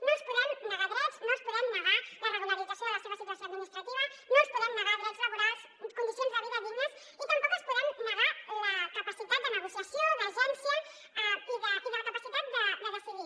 no els podem negar drets no els podem negar la regularització de la seva situació administrativa no els podem negar drets laborals condicions de vida dignes i tampoc els podem negar la capacitat de negociació d’agència i la capacitat de decidir